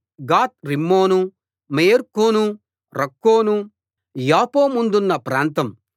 గాత్ రిమ్మోను మేయర్కోను రక్కోను యాపో ముందున్న ప్రాంతం